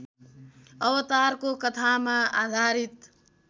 अवतारको कथामा आधारित